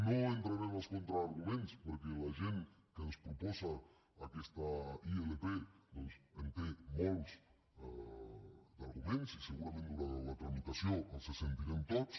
no entraré en els contraarguments perquè la gent que ens proposa aquesta ilp doncs en té molts d’arguments i segurament durant la tramitació els sentirem tots